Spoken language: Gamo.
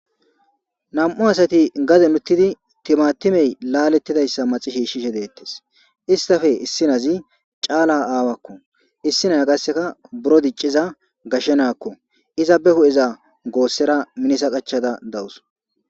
nam7u asati gazen uttidi timatimey laalettidayssa maxishiishshishe deettes istafe issinazi caala aawakko issinaya gasseka buro dicciza gashshe naakko iza be hu7eza goossera minisa qachada dawus